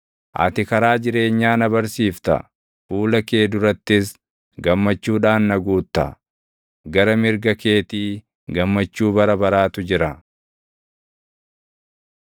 Ati karaa jireenyaa na barsiifta; fuula kee durattis gammachuudhaan na guutta; gara mirga keetii gammachuu bara baraatu jira.